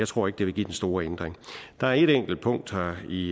tror ikke det vil give den store ændring der er et enkelt punkt her i